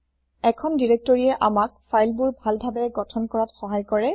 এখন দিৰেক্তৰিয়ে আমাক ফাইলবোৰ ভালভাৱে গথন কৰাত সহায় কৰে